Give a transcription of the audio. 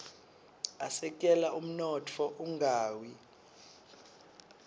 asekela umnotfo ungawi